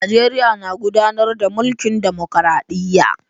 Najeriya na gudanar da mulkin dimokradiyya.